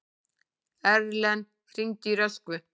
Erlen, hringdu í Röskvu.